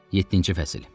Yeddinci fəsil.